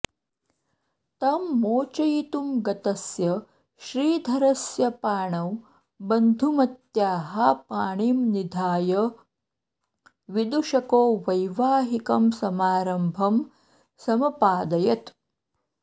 तं मोचयितुं गतस्य श्रीधरस्य पाणौ बन्धुमत्याः पाणिं निधाय विदूषको वैवाहिकं समारम्भं समपादयत्